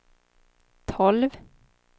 tolv